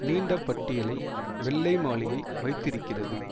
நீண்ட பட்டியலை வெள்ளை மாளிகை வைத்திருக்கிறது